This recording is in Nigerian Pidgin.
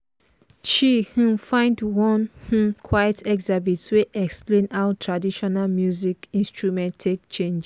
she um find one um quiet exhibit wey explain how traditional music instrument take change.